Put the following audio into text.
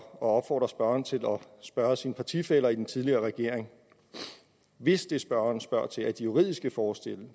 opfordre spørgeren til at spørge sine partifæller i den tidligere regering hvis det spørgeren spørger til er de juridiske forskelle